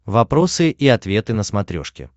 вопросы и ответы на смотрешке